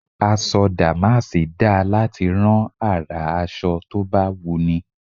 Aṣọ dàmásì dáa láti rán àrà aṣọ tó bá wùnni.